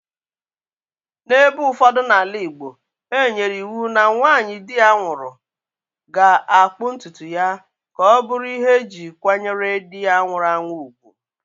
N'ebe ụfọdụ n'ala igbo,e nyere iwu na nwanyị di ya nwụrụ ga akpụ ntutu ya ka ọ bụrụ ihe e ji kwanyere di ya nwụrụ anwụ ùgwù.